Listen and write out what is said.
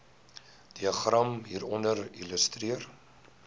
diagram hieronder illustreer